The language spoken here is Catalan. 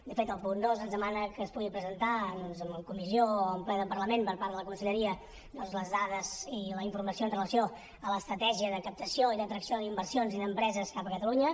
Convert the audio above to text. de fet el punt dos ens demana que es pugui presentar doncs en comissió o en ple del parlament per part de la conselleria les dades i la informació amb relació a l’estratègia de captació i d’atracció d’inversions i d’empreses cap a catalunya